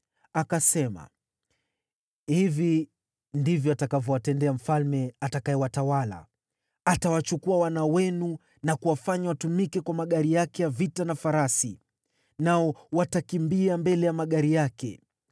Akasema, “Hivi ndivyo atakavyowatendea mfalme atakayewatawala. Atawachukua wana wenu na kuwafanya watumike kwa magari yake ya vita na farasi, nao watakimbia mbele ya magari yake.